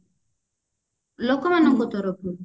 ଲୋକମାନଙ୍କ ତରଫରୁ